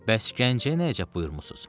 Bəs Gəncəyə nəyəcək buyurmusuz?